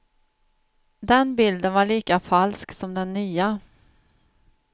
Den bilden var lika falsk som den nya.